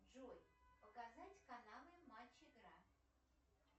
джой показать каналы матч игра